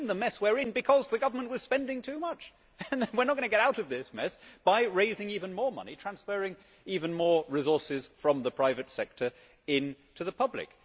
We are in the mess we are in because the government was spending too much and we will not get out of this mess by raising even more money, transferring even more resources from the private sector into the public.